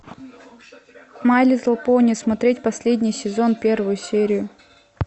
май литл пони смотреть последний сезон первую серию